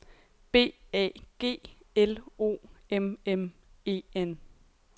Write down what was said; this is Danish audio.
B A G L O M M E N